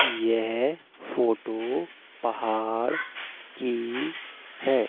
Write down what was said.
येह फोटो पहाड़ की है।